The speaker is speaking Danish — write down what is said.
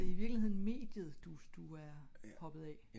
så det er i virkeligheden mediet du du du er hoppet af?